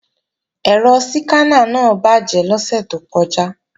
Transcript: Ẹ̀rọ síkáná náà bàjé lọ́sẹ̀ tó kọjá